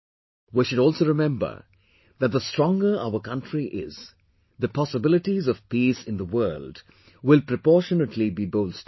We should also remember that the stronger our country is, the possibilities of peace in the world will proportionately be bolstered